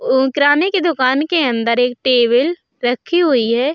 उम्म किराने की दुकान के अंदर एक टेबल रखी हुई है।